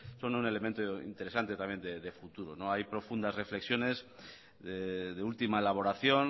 son un elemento interesante también de futuro hay profundas reflexiones de última elaboración